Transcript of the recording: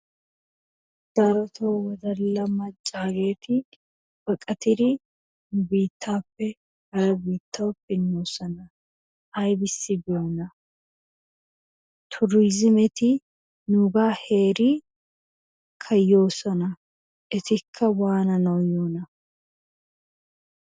Darotoo wodalla maccageeti baqattidi biittappe hara biittawu pinoosona. Aybbissi biyoona? Tuurizimeti nuuga heerikaa yoosona etikka waananaw yiyyoona?